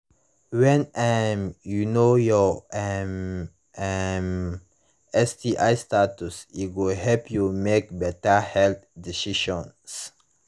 when um you know your um um sti status e go help you make better health decisions